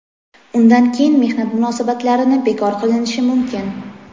undan keyin mehnat munosabatlarini bekor qilinishi mumkin.